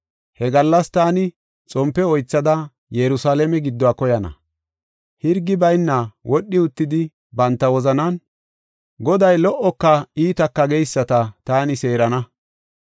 He gallas taani xompe oythada Yerusalaame gidduwa koyana. Hirgi bayna wodhi uttidi banta wozanan, ‘Goday lo77oka iitaka’ geyisata taani seerana.